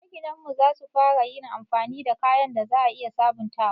Maginan mu za su fara yin amfani da kayan da za a iya sabontawa.